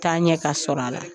Taɲɛ ka sɔrɔ a la.